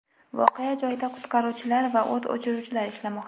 Voqea joyida qutqaruvchilar va o‘t o‘chiruvchilar ishlamoqda.